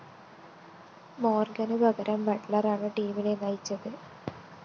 മോര്‍ഗന് പകരം ബട്ട്‌ലറാണ് ടീമിനെ നയിച്ചത്